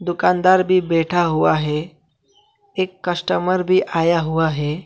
दुकानदार भी बैठा हुआ है एक कस्टमर भी आया हुआ है।